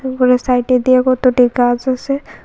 উপরের সাইডে দিয়ে কতটি গাছ আছে।